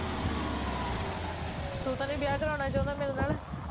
ਤੂੰ ਤਾਂ ਨੀ ਵਿਆਹ ਕਰਾਉਣਾ ਚਾਹੁੰਦਾ ਮੇਰੇ ਨਾਲ਼